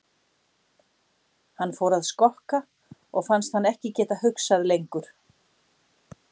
Hann fór að skokka og fannst hann ekki geta hugsað lengur.